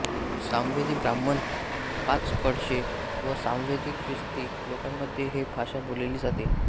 सामवेदी ब्राह्मण पाचकळशे व सामवेदी ख्रिस्ती लोकांमध्ये ही भाषा बोलली जाते